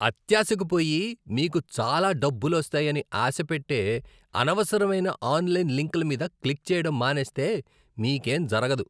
అత్యాశకు పోయి, మీకు చాలా డబ్బులోస్తాయని ఆశపెట్టే అనవసరమైన ఆన్లైన్ లింక్ల మీద క్లిక్ చేయడం మానేస్తే మీకేం జరగదు.